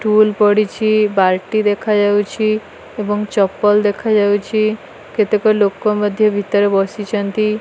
ଟୁଲ ପଡ଼ିଛି ବାଲଟି ଦେଖାଯାଉଛି ଏବଂ ଚପଲ ଦେଖାଯାଉଛି କେତେକ ଲୋକ ମଧ୍ଯ ଭିତରେ ବସିଚନ୍ତି।